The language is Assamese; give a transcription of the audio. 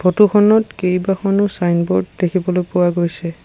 ফটো খনত কেইবাখনো চাইনব'ৰ্ড দেখিবলৈ পোৱা গৈছে।